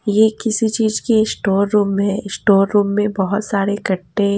ये किसी चीज के स्टोर रूम है स्टोर रूम में बहुत सारे कट्टे--